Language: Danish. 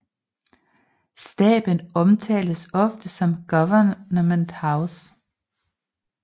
Staben omtales ofte som Government House